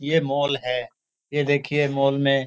ये मॉल है। ये देखिए मॉल में --